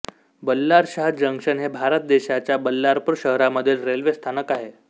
Ballarshah junction हे भारत देशाच्या बल्लारपूर शहरामधील रेल्वे स्थानक आहे